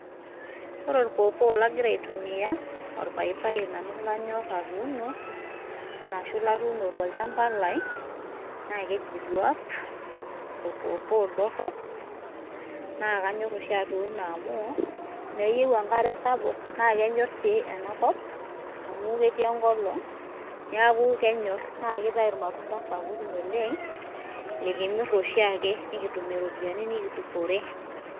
Ore olpawpaw langira aitumia olpaipai nanu lanyorr atuno ashu latuno tolchamba lai na keji duap olpawpaw dorop, na kanyor oshi atuno amu, meyieu enkare sapuk na kenyor si ena kop amu ketii enkolong niaku kenyorr, na kitau imatunda sapukin oleng, likimir oshiake nikitumie iropiani nikidupore.